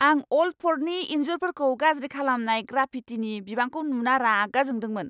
आं अल्ड फर्टनि इन्जुरफोरखौ गाज्रि खालामनाय ग्राफिटिनि बिबांखौ नुना रागा जोंदोंमोन।